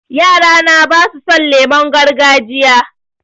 Yara na ba su son lemon gargajiya